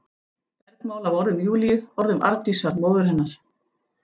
Bergmál af orðum Júlíu, orðum Arndísar, móður hennar.